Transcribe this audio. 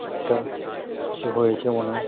কুকুরটা কিছু হয়েছে মনে হয়।